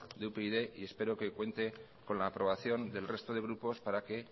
de upyd y espero que cuente con la aprobación del resto de grupos para que